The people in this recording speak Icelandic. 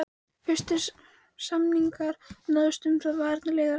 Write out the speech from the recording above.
Fyrstu samningar náðust um það við varnarliðið á árinu